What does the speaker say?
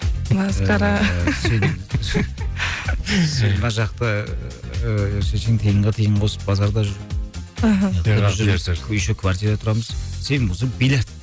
масқара сен сен мына жақта ыыы шешең тиынға тиын қосып базарда жүр аха еще квартирада тұрамыз сен болсаң биллиард